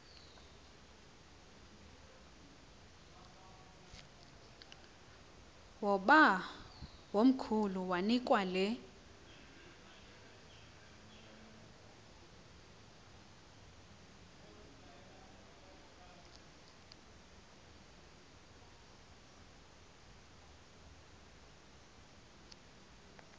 oobawomkhulu banikwa le